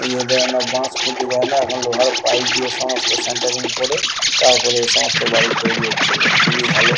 য়ে দেয় না বাঁশ খুঁটি দেয় না এখন লোহার পাইপ দিয়ে সমস্ত সেন্টারিং করে তারপর এই সমস্ত বাড়ি তৈরি হচ্ছিলো খুবই ভালো।